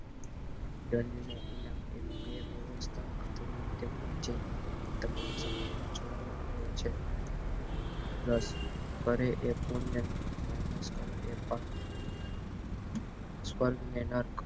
ડલ અને ઇનામ એવી બે વ્યવસ્થા આધુનિક ના જેમ તમામ સમજો માં જોવામાં આવે છે plus કરે એ minus કરે એ ભાગ સ્વર્ગ ને નર્ક